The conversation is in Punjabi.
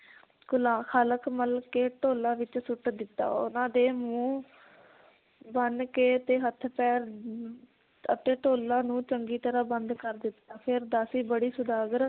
ਕਾਲਖ ਮਲ ਕੇ ਢੋਲਾ ਵਿਚ ਸੁੱਟ ਦਿੱਤਾ ਉਹਨਾਂ ਦੇ ਮੂੰਹ ਬੰਨ ਕੇ ਤੇ ਹੱਥ ਪੈਰ ਅਮ ਅਤੇ ਢੋਲਾ ਨੂੰ ਚੰਗੀ ਤਰਾਂ ਬੰਦ ਕਰ ਦਿੱਤਾ ਫਿਰ ਦਾਸੀ ਬੜੀ ਸੌਦਾਗਰ